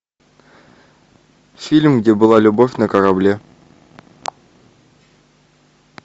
фильм где была любовь на корабле